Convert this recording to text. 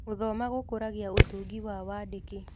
Gũthoma gũkũragia ũtungi na wandĩki.